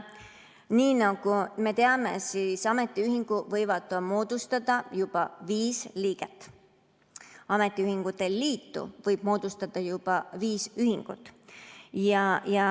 Nii nagu me teame, võivad ametiühingu moodustada juba viis liiget, ametiühingute liidu võivad moodustada juba viis ühingut.